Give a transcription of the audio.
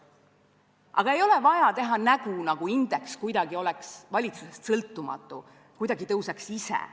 Aga ei ole vaja teha nägu, nagu indeks oleks kuidagi valitsusest sõltumatu, tõuseks kuidagi ise.